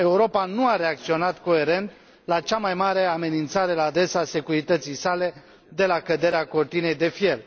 Europa nu a reacționat coerent la cea mai mare amenințare la adresa securității sale de la căderea Cortinei de fier.